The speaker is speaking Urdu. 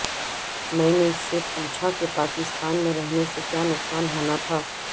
میں نے اس سے پوچھا کہ پاکستان میں رہنے سے کیا نقصان ہونا تھا